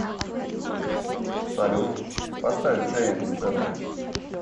салют поставь джеймс тэвэ